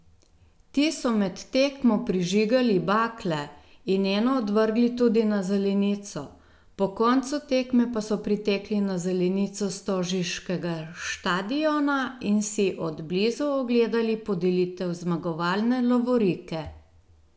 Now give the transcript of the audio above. Ti so med tekmo prižigali bakle in eno odvrgli tudi na zelenico, po koncu tekme pa so pritekli na zelenico stožiškega štadiona in si od blizu ogledali podelitev zmagovalne lovorike.